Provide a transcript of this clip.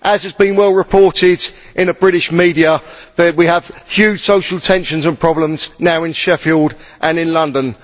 As has been well reported in the British media, we have huge social tensions and problems now in Sheffield and in London.